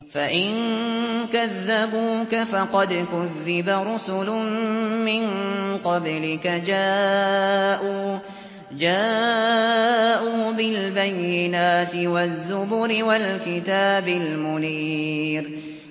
فَإِن كَذَّبُوكَ فَقَدْ كُذِّبَ رُسُلٌ مِّن قَبْلِكَ جَاءُوا بِالْبَيِّنَاتِ وَالزُّبُرِ وَالْكِتَابِ الْمُنِيرِ